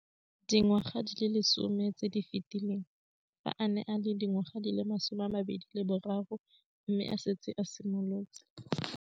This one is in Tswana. Dingwaga di le 10 tse di fetileng, fa a ne a le dingwaga di le 23 mme a setse a itshimoletse